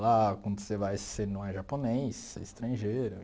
Lá, quando você vai, você não é japonês, você é estrangeiro.